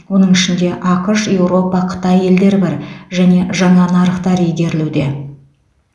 оның ішінде ақш еуропа қытай елдері бар және жаңа нарықтар игерілуде